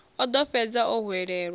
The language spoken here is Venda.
o ḓo fhedza o hwelelwa